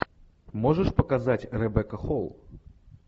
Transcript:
можешь показать ребекка холл